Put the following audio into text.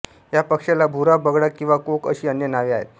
या पक्षाला भुरा बगळा किंवा कोक अशी अन्य नावे आहेत